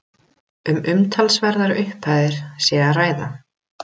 Um umtalsverðar upphæðir sé að ræða